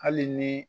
Hali ni